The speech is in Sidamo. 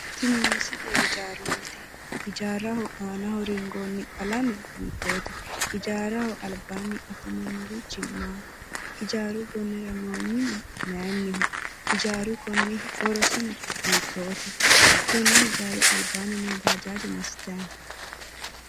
Tini misile ijaarunnite ijaaraho aanaho ringoonni qalame hiitto ijaaraho albasiinni noo bajaaje massitayi no